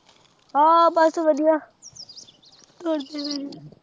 ਹਾਂ ਬਸ ਵਧੀਆ।